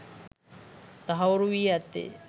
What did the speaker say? තහවුරු වී ඇත්තේ